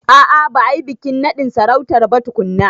A a ba a yi bikin naɗin sarautar ba tukunna.